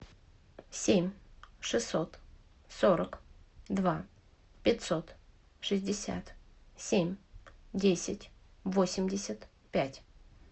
семь шестьсот сорок два пятьсот шестьдесят семь десять восемьдесят пять